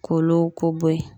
K'olu k-o bɔ yen.